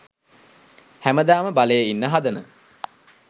හැමදාම බලේ ඉන්න හදන